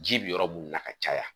Ji bɛ yɔrɔ minnu na ka caya